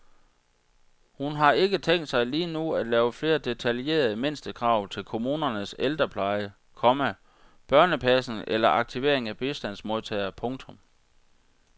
Hun har ikke tænkt sig lige nu at lave flere detaljerede mindstekrav til kommunernes ældrepleje, komma børnepasning eller aktivering af bistandsmodtagere. punktum